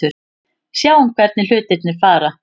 Sjáum hvernig hlutirnir fara.